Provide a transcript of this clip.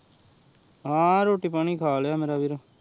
ਹਾਂ ਰੋਟੀ ਪਾਣੀ ਖਾ ਲੇਯ ਮੇਰਾ ਵੀਰੇ